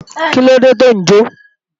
Kílóde tò ń jó?